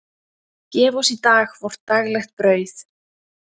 Gef oss í dag vort daglegt brauð.